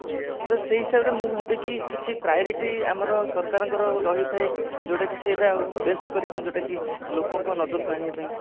ସେଇ ହିସାବରେ ମୁଁ ଭାବିଛି କିଛି priority ଆମର ସରକାରଙ୍କର ରହିଥାଏ ଯୋଉଟା କି ସେଇଟା best କରିବାପାଇଁ ଯୋଉଟା କି ଲୋକଙ୍କ ନଜର କୁ ଆଣିବା ପାଇଁ